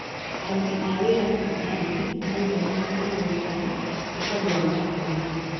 Aruti a wĩra thibitarĩinĩ marauga nĩmekũrũrũngana nĩtondũ wa marĩhi manini